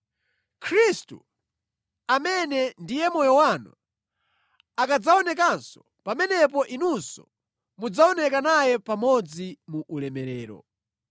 Khristu, amene ndiye moyo wanu, akadzaonekanso, pamenepo inunso mudzaoneka naye pamodzi mu ulemerero.